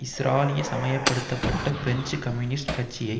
ஸ்ராலினிசமயப்படுத்தப்பட்ட French communist கட்சியை